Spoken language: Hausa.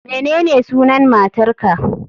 Menene sunan matar ka